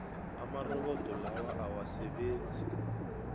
amarobodo lawa awasasebenzi